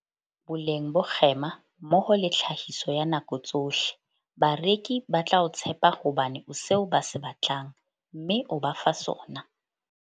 Boleng bo kgema mmoho le tlhahiso ya nako tsohle. Bareki ba tla o tshepa hobane o seo ba se batlang, mme o ba fa sona.